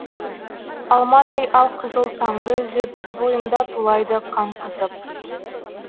алмадай алқызыл таңды үзіп бойымда тулайды қан қызып